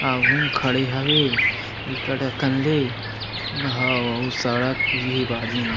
आघू म खड़े हवे बिकट अकन ले घव अऊ सड़क भी हे बाजू म--